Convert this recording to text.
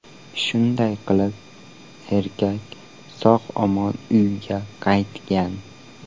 Shunday qilib, erkak sog‘-omon uyga qaytgan.